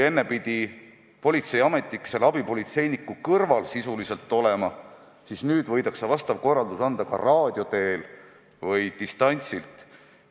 Enne pidi politseiametnik sisuliselt selle abipolitseiniku kõrval olema, aga nüüd võib ta vastava korralduse anda ka raadio teel või distantsilt.